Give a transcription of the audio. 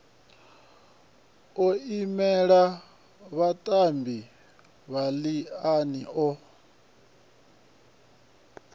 o imela vhatambi masiani o